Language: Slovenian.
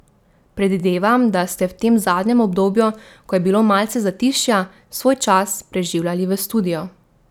Predvidevam, da ste v tem zadnjem obdobju, ko je bilo malce zatišja, svoj čas preživljali v studiu.